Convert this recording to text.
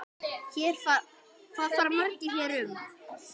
Hvað fara hér margir um?